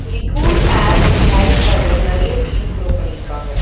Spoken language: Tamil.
இங்க கூல் ஏர் அன் ஷேடோக்காக நெறைய ட்ரீஸ் குரோ பண்ணி இருக்காங்க.